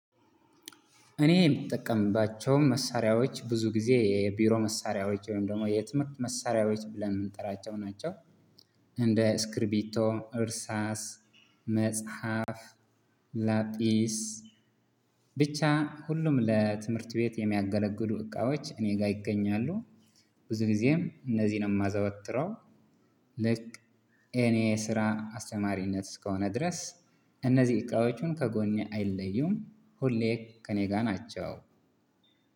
እኔ የምጠቀምባቸው መሳሪያዎች ብዙ ናቸው። የቢሮ መሳሪያዎች ወይም ደግሞ የትምህርት መሳሪያዎች ብለን የምንጠራቸው ናቸው እንደ ስክሪቢ፣ እርሳስ፣ መጽሐፍ፣ ላጽስ ብቻ ሁሉም ለትምህርት ቤት የሚያገለግሉ እቃዎች እኔ ጋር ይገኛሉ። ብዙ ጊዜም እነዚህን የማዘወትረው ልክ እኔ ስራ አስተማሪነት እስከሆነ ድረስ። እነዚህ እቃዎቹን ከጎኔ አይለዩም ሁሌ ከእኔ ጋር ናቸው።